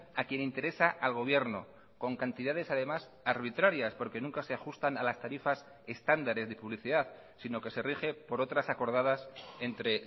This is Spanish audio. a quien interesa al gobierno con cantidades además arbitrarias porque nunca se ajustan a las tarifas estándares de publicidad sino que se rige por otras acordadas entre